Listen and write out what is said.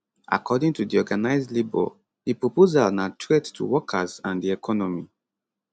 according to di organised labour di proposal na threat to workers and di economy